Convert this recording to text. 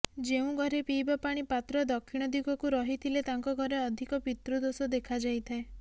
ଯେଉଁ ଘରେ ପିଇବା ପାଣି ପାତ୍ର ଦକ୍ଷିଣ ଦିଗକୁ ରହିଥିଲେ ତାଙ୍କ ଘରେ ଅଧିକ ପିତୃଦୋଷ ଦେଖାଯାଇଥାଏ